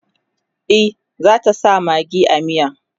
e zata sa maggi a miyan